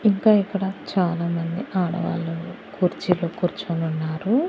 ఇంకా ఇక్కడ చాలా మంది ఆడవాళ్ళు కుర్చీలో కూర్చునున్నారు.